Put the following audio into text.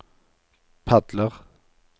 padler